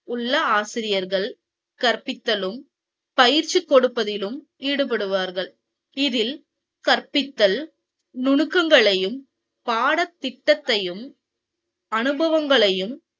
உள்ள ஆசிரியர்கள் கற்பித்தலும் பயிற்சி கொடுப்பதிலும் ஈடுபடுவார்கள் இதில் கற்பித்தல் நுணுக்கங்களையும் படத்திட்டத்தையும் அனுபவங்களையும்